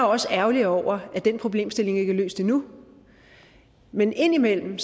også ærgerlig over at den problemstilling ikke er løst endnu men indimellem